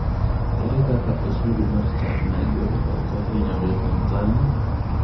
Ere kaka osuru mar chak ma igolo oko hinyo jotanzania?